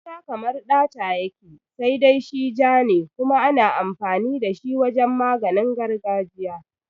Gauta kamar ɗata yake, sai dai shi ja ne kuma ana amfani da shi wajen maganin gargajiya.